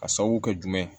A sababu kɛ jumɛn ye